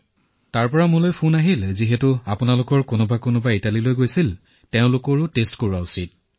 আমালৈ ফোন আহিল যে আপোনালোকো তেওঁৰ সৈতে গৈছিল যেতিয়া পৰীক্ষা কৰাওক